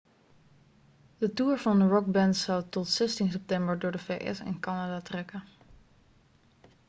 de toer van de rockband zou tot zestien september door de vs en canada trekken